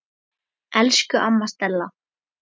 Elsku amma Stella.